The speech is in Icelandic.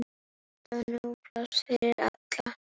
Alltaf nóg pláss fyrir alla.